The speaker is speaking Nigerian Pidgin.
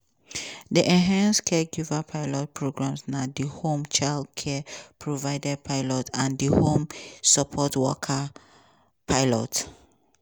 di enhanced caregiver pilot prgrams na di home child care provider pilot and home support worker pilot.